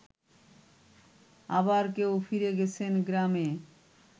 আবার কেউ ফিরে গেছেন গ্রামে